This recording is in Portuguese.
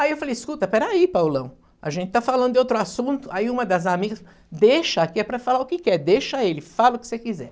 Aí eu falei, escuta, peraí, Paulão, a gente tá falando de outro assunto, aí uma das amigas, deixa aqui, é para falar o que quer, deixa ele, fala o que você quiser.